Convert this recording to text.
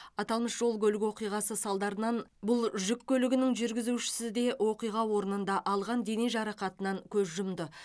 аталмыш жол көлік оқиғасы салдарынан бұл жүк көлігінің жүргізушісі де оқиға орнында алған дене жарақатынан көз жұмды